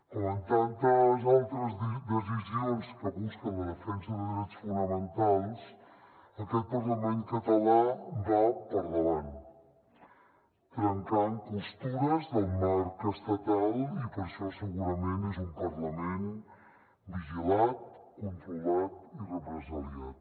com en tantes altres decisions que busquen la defensa de drets fonamentals aquest parlament català va per davant trencant costures del marc estatal i per això segurament és un parlament vigilat controlat i represaliat